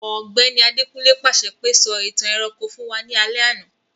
Ògbẹ́ni Adekunle pàṣẹ pe, 'Sọ ìtàn ẹranko fun wa ni alẹ́ àná'